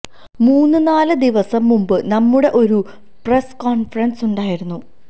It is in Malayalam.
മൂന്ന് നാല് ദിവസം മുമ്പ് നമ്മുടെ ഒരു പ്രസ് കോൺഫറൻസ് ഉണ്ടായിരുന്നു